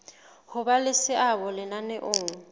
ho ba le seabo lenaneong